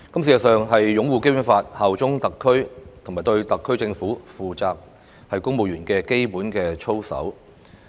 事實上，擁護《基本法》、效忠特區和對特區政府負責是公務員的基本操守。